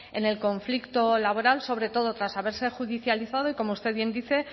en el conflicto laboral sobre todo tras haberse judicializado y como usted bien dice